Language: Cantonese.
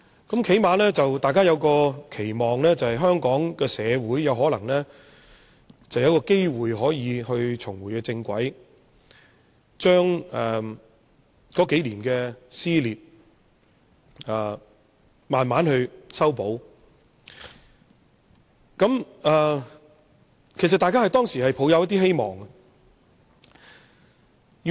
最低限度大家期望香港社會有機會重回正軌，將過去數年的撕裂逐漸修補，當時大家抱有希望。